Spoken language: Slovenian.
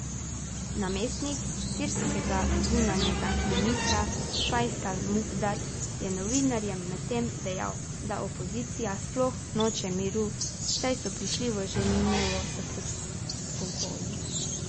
Namestnik sirskega zunanjega ministra Fajsal Mukdad je novinarjem medtem dejal, da opozicija sploh noče miru, saj so prišli v Ženevo s predpogoji.